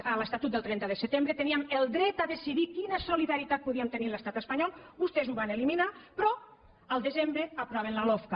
a l’estatut del trenta de setembre teníem el dret a decidir quina solidaritat podíem tenir a l’estat espanyol vostès ho van eliminar però al desembre aproven la lofca